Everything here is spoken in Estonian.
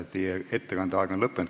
Teie ettekande aeg on lõppenud.